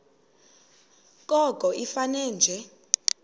koko ifane nje